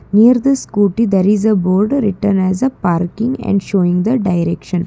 near the scooty there is a board written as a parking and showing the direction.